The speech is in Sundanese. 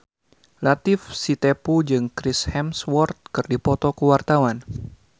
Latief Sitepu jeung Chris Hemsworth keur dipoto ku wartawan